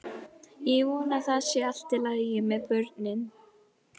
Ég vona að það sé allt í lagi með börnin.